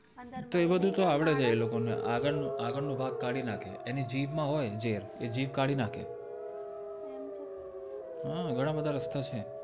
તો એ બધું તો આવડે એ લોકો ને આગળનું ભાગ કાઢી નાખે એની જીભ માં હોય ઝેર એ જીભ કાઢી નાખે હા ઘણા બધા રસ્તા છે